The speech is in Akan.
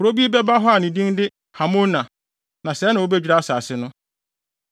(Kurow bi bɛba hɔ a ne din de Hamona). Na sɛɛ na wobedwira asase no.’